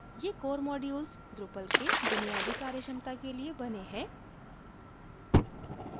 ये core modules drupal के बुनियादी कार्यक्षमता के लिए बने हैं